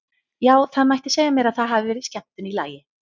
Já, það mætti segja mér að það hafi verið skemmtun í lagi!